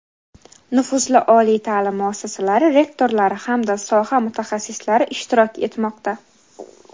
nufuzli oliy ta’lim muassasalari rektorlari hamda soha mutaxassislari ishtirok etmoqda.